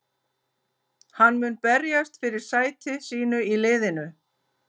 Hann mun berjast fyrir sæti sínu í liðinu.